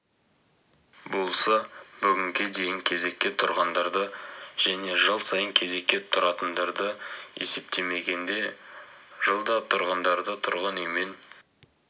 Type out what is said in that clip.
болса бүгінге дейін кезекке тұрғандарды және жыл сайын кезекке тұратындарды есептемегенде жылда тұрғындарды тұрғын үймен